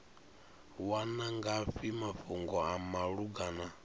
wana ngafhi mafhungo a malugana